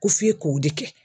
Ko f'i k'o de kɛ.